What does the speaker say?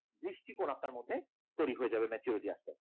দৃষ্টিকোণ আপনার মধ্যে তৈরি হয়ে যাবে maturity আসলে